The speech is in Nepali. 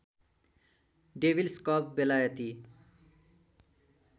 डेभिल्स कब बेलायती